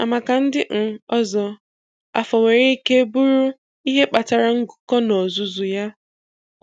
Ma maka ndị um ọzọ, afọ nwere ike bụrụ ihe kpatara ngụkọ n'ozuzu ya